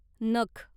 नख